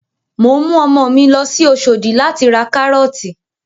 Mò ń mú ọmọ mi lọ sí Oṣòdì láti ra Kárọ́ọ̀tì